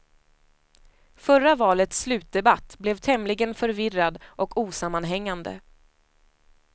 Förra valets slutdebatt blev tämligen förvirrad och osammanhängande.